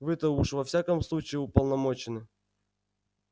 вы-то уж во всяком случае уполномочены